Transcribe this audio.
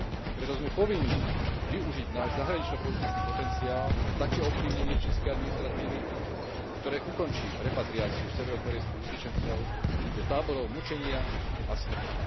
Preto sme povinní využiť náš zahraničnopolitický potenciál na také ovplyvnenie čínskej administratívy, ktoré ukončí repatriáciu severokórejských utečencov do táborov mučenia a smrti.